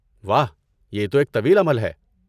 واہ، یہ تو ایک طویل عمل ہے۔